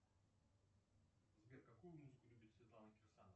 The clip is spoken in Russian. сбер какую музыку любит светлана кирсанова